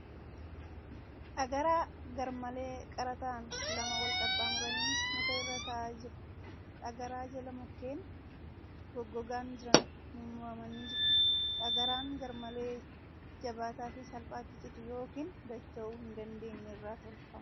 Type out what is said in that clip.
Dhagaraa garmalee qara ta'an lama wal qaxxaamuranii muka irra taa'aa jiru . Dhagaraa jala mukkeen goggogaan jiran mummuramanii jiru. Dhagaraan garmalee jabaata fi salphaatti cituu yookin dacha'uu hin dandeenye irraa tolfama.